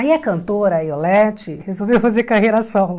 Aí a cantora, a Iolete, resolveu fazer carreira solo.